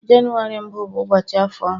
Jenụwarị mbụ bụ ụbọchị afọ ọhụrụ.